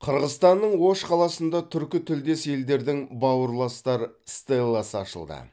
қырғызстанның ош қаласында түркітілдес елдердің бауырластар стелласы ашылды